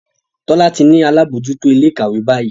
Tola tí ní àlabòjuto Ilé-ìkàwé bayi.